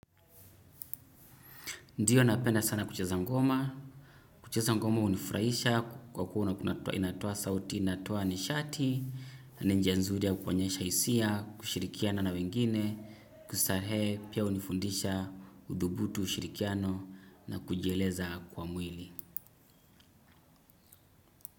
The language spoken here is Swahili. Ndiyo napenda sana kucheza ngoma, kucheza ngoma hunifurahisha kwa kuwa inatoa sauti, inatoa nishati, na njia nzuri ya kuonyesha hisia, kushirikiana na wengine, kustarehe pia hunifundisha, udhubutu, ushirikiano na kujieleza kwa mwili.